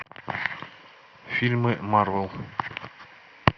фильмы марвел